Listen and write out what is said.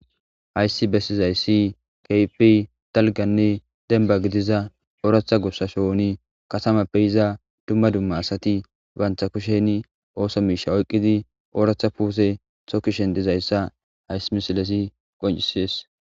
hayssi bessizayssi kaypi talganne denba gidiza ooratha gussa shooni kasamappe iza dumma dumma asati bantha kusheni ooso miisha oyqqidi ooratha puuse thokishen dizayssa haysimisilesi qoncisies